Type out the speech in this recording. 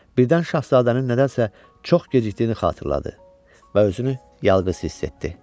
Birdən şahzadənin nədənsə çox gecikdiyini xatırladı və özünü yalqız hiss etdi.